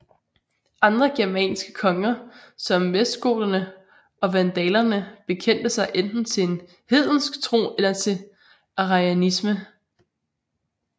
Andre germanske konger som vestgoterne og vandalerne bekendte sig enten til en hedensk tro eller til arianisme